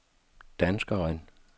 danskeren